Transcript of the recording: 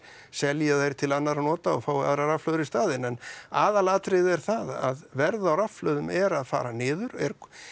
selji þær til annarra nota og fái aðrar rafhlöður í staðinn en aðalatriðið er það að verð á rafhlöðum er að fara niður er